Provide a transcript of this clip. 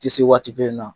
Tɛ se waati kelen na